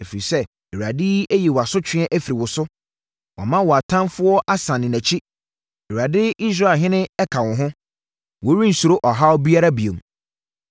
Ɛfiri sɛ, Awurade ayi wʼasotweɛ afiri wo so, wama wo ɔtamfoɔ asane nʼakyi. Awurade Israelhene ka wo ho; worensuro ɔhaw biara bio.